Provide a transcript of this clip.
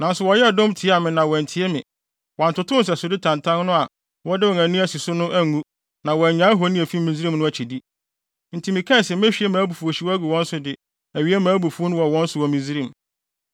“ ‘Nanso wɔyɛɛ dɔm tiaa me na wɔantie me; Wɔantotow nsɛsode tantan no a wɔde wɔn ani asi so no angu na wɔannyae ahoni a efi Misraim no akyidi. Enti mekaa se mehwie mʼabufuwhyew agu wɔn so de awie mʼabufuw wɔ wɔn so wɔ Misraim.